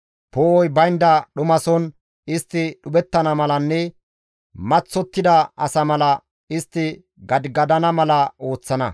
Poo7oy baynda dhumason istti dhuphettana malanne maththottida asa mala istti gadigadana mala ooththana.